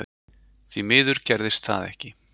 Því miður gerðist það ekki.